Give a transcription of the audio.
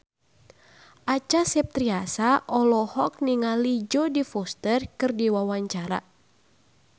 Acha Septriasa olohok ningali Jodie Foster keur diwawancara